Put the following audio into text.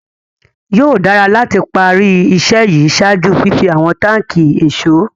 Yóò dàrà láti pá rí iṣẹ̀ yí ṣáàjú fífì àwọn tàkí èṣọ̀.